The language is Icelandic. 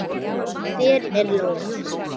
Hver er Lola?